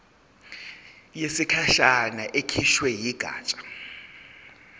yesikhashana ekhishwe yigatsha